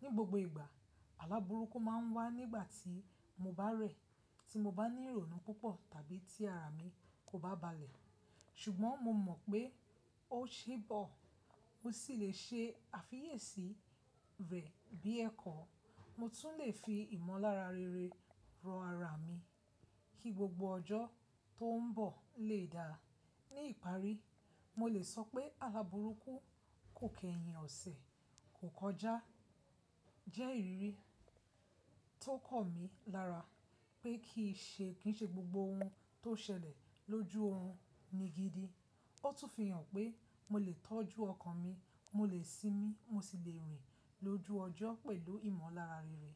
Ní gbogbo ìgbà, àlabùrúkú máa ń wá nígbà tí mo bá rẹ̀, tí mo bá ní ìrònú púpọ̀ tàbí tí ara mi kò bá balẹ̀. Ṣùgbọ́n mo mọ̀ pé ó ṣe bọ̀, mo sì lè ṣe àfiyèsí rẹ̀ bí ẹ́kọ. Mo tún lè fi ìmọ̀lára rere rọ̀ ara mi kí gbogbo ọjọ́ tó ń bọ̀ lè dára. Ní ìparí, mo lè sọ pé àla bùrúkú kò kẹ́yìn ọ̀sẹ̀, kò kọjá, jẹ́ ìrírí tó kọ̀ mí lára pé kì n ṣe gbogbo ohun tó ṣẹlẹ̀ lójú orun ni gidi. Ó tún fi hàn pé mo lè tọ́jú ọkàn mi, mo lè sinmi, mo sì lè rìn lójú ọjọ́ pẹ̀lú ìmọ̀lára rere.